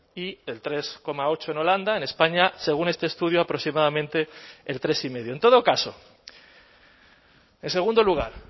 y el tres coma ocho en holanda en españa según este estudio aproximadamente el tres y medio en todo caso en segundo lugar